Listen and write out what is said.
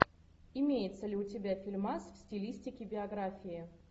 имеется ли у тебя фильмас в стилистике биографии